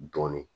Dɔɔnin